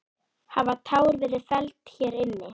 Hafa tár verið felld hér inni?